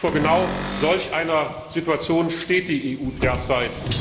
Vor genau solch einer Situation steht die EU derzeit.